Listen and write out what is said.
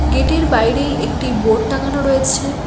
Gate -এর বাইরেই একটি বোর্ড টাঙানো রয়েছে।